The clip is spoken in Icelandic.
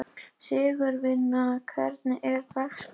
Sigurvina, hvernig er dagskráin í dag?